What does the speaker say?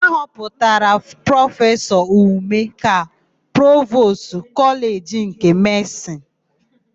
A họpụtara Prọfesọ Ume ka Provostu Kọleji nke Medịsịnụ.